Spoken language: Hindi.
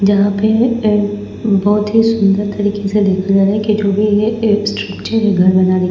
यहाँ पे ए बहुत ही सुंदर तरीके से लिखा गया है कि जो भी ये ए स्ट्रक्चर है घर बनाने--